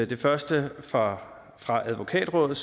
det første er fra advokatrådet